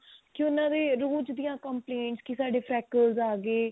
ਕਿ ਉਹਨਾਂ ਦੇ ਦੀਆਂ complaint ਕਿ ਸਾਡੇ franker's ਆਗੇ